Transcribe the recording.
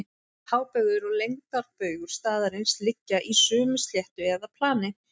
Hábaugur og lengdarbaugur staðarins liggja í sömu sléttu eða plani.